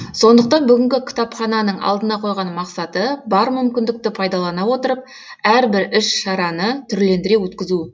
сондықтан бүгінгі кітапхананың алдына қойған мақсаты бар мүмкіндікті пайдалана отырып әрбір іс шараны түрлендіре өткізу